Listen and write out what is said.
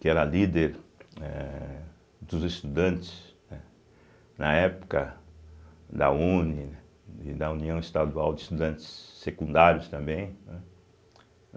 que era líder eh dos estudantes, né na época da une e da União Estadual de Estudantes Secundários também, né.